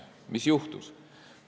Mis juhtus?